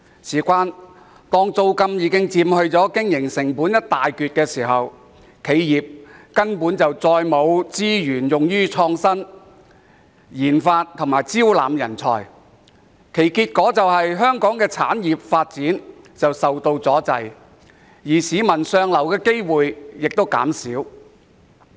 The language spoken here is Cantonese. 由於租金已佔經營成本一大部分，企業根本沒有額外資源用於創新、研發和招攬人才，結果導致香港產業發展受阻，市民向上流的機會減少。